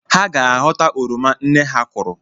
Ha ga-ahọta oroma nne ha kụrụ